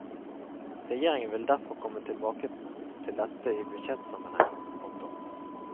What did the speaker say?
Regjeringen vil derfor komme tilbake til dette i budsjettsammenheng. punktum